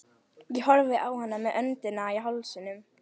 Ég horfði á hana með öndina í hálsinum.